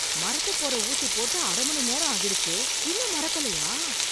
மரத்துப் போற ஊசி போட்டு அரை மணி நேரம் ஆகிடுச்சு, இன்னும் மரக்கலயா?